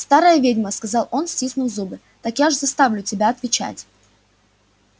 старая ведьма сказал он стиснув зубы так я ж заставлю тебя отвечать